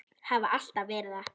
Hafa alltaf verið það.